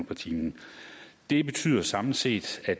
per time det betyder samlet set at